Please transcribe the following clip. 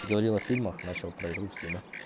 говорил о фильмах начал про игру в стиме